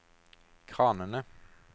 kranene